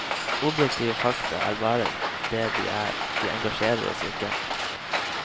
Objektive fakta er bare det de er, de engasjerer oss ikke.